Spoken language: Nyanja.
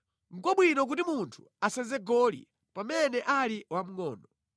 Nʼkwabwino kuti munthu asenze goli pamene ali wamngʼono.